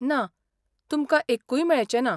ना, तुमकां एक्कूय मेळचें ना.